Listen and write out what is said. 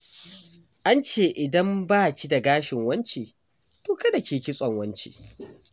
An ce idan ba ki da gashin wance, to kada ki yi kitson wance.